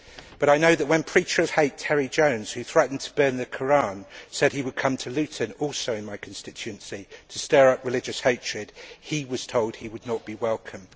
But I know that when preacher of hate Terry Jones, who threatened to burn the Koran, said he would come to Luton also in my constituency to stir up religious hatred, he was told he would not be welcome.